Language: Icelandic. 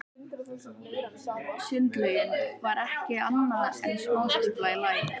Sundlaugin var ekki annað en smástífla í læk.